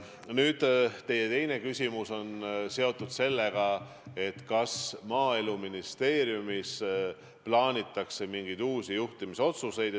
Nüüd, teie teine küsimus on selle kohta, kas Maaeluministeeriumis plaanitakse mingeid uusi juhtimisotsuseid.